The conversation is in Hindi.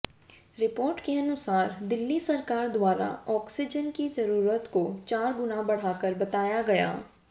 रिपोर्ट के अनुसार दिल्ली सरकार द्वारा ऑक्सीजन की जरूरत को चार गुना बढ़ाकर बताया गया